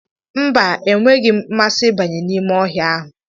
mba, enweghị m mmasị ịbanye n'ime ọhịa ahụ